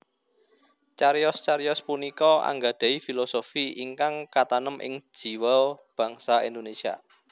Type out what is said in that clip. Cariyos cariyos punika anggadhahi filosofi ingkang katanem ing jiwa bangsa Indonésia